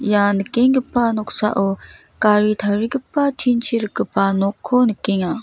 ia nikenggipa noksao gari tarigipa tin-chi rikgipa nokko nikenga.